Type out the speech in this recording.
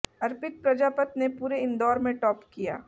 अर्पित प्रजापत ने पूरे इंदौर में टॉप किया